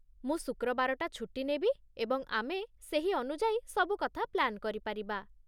ମୁଁ ଶୁକ୍ରବାରଟା ଛୁଟି ନେବି, ଏବଂ ଆମେ ସେହି ଅନୁଯାୟୀ ସବୁ କଥା ପ୍ଲାନ୍ କରିପାରିବା।